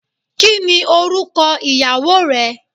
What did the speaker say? Kini oruko iyawo re